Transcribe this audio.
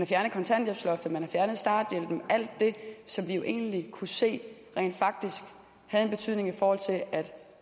fjernet kontanthjælpsloftet man har fjernet starthjælpen alt det som vi jo egentlig kunne se rent faktisk havde en betydning for at